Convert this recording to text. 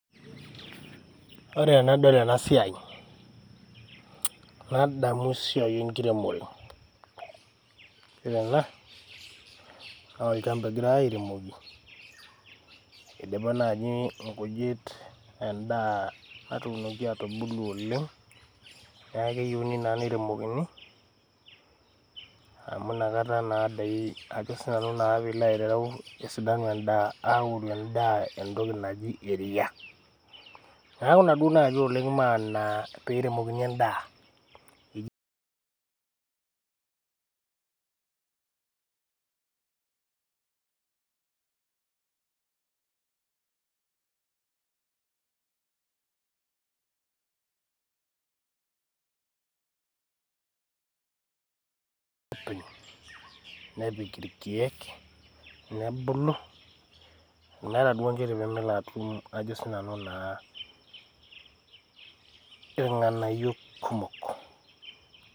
Ore tenadol ena siai nadamu esiai e nkiremore. Ore ena naa olchamba egirai airemoki idipa naaaji nkujit en`daa natuunoki atubulu oleng. Niaku keyieuni naa neiremokini amu inaka naadoi ajo sii nanu naa pee ilo aitereu esidanu en`daa. Aoru en`daa entoki naji eria, niaku ina duo naaji oleng maana pee eiremokini en`daa.